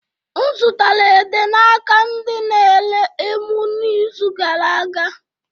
M zụtara ede n'aka ndị na-ere emu n'izu gara a